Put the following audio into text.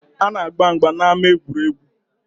A na-agba mgba n’ama egwuregwu